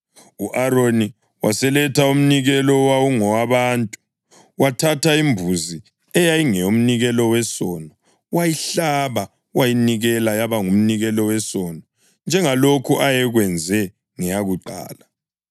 U-Aroni waseletha umnikelo owawungowabantu, wathatha imbuzi eyayingeyomnikelo wesono wayihlaba, waseyinikela yaba ngumnikelo wesono njengalokhu ayekwenze ngeyakuqala.